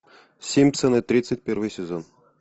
симпсоны тридцать первый сезон